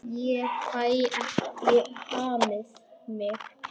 Ég fæ ekki hamið mig.